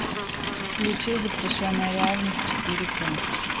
включи запрещенная реальность четыре к